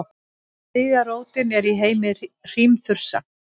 þriðja rótin er í heimi hrímþursa